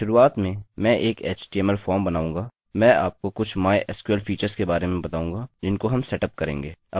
मैं आपको कुछ mysql फीचर्स के बारे में बताऊँगा जिनको हम सेटअप करेंगे